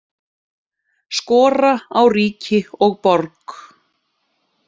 Skora á ríki og borg